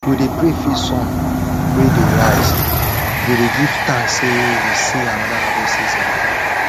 we dey pray face sun wey dey rise we dey give thanks say we see another harvest season